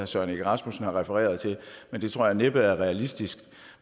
søren egge rasmussen refererer til men jeg tror næppe at det er realistisk